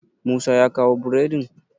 musa ya kawo boredin?